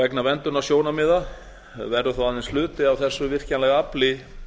vegna verndunarsjónarmiða verður þó aðeins hluti af þessu virkjanlega afli